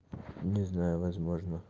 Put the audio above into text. не знаю возможно